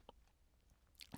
TV 2